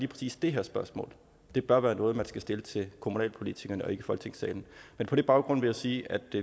præcis det her spørgsmål bør være noget man skal stille til kommunalpolitikerne og ikke i folketingssalen på den baggrund vil jeg sige at